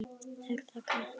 Er það Katla?